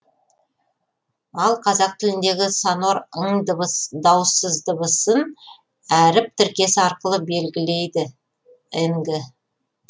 ал қазақ тіліндегі сонор ң дауыссыз дыбысын әріп тіркесі арқылы белгілейді нг